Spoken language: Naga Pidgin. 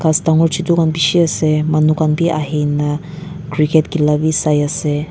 ghas dangor chutu khan bishi ase manu khan bi ahina cricket khila bi saiase.